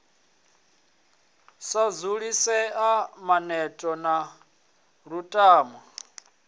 sa dzulisea maneto na lutamo